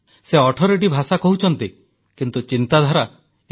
ସେ 18ଟି ଭାଷା କହୁଛନ୍ତି କିନ୍ତୁ ଚିନ୍ତାଧାରା ଏକ